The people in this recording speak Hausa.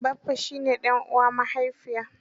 Baffa shi ne ɗan uwan mahaifiya.